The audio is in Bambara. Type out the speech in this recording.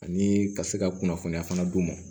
Ani ka se ka kunnafoniya fana d'u ma